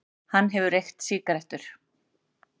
Hann hefur reykt sígarettur.